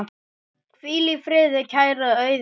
Hvíl í friði, kæra Auður.